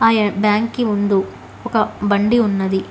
ఏ బ్యాంకి ముందు ఒక బండి ఉన్నది.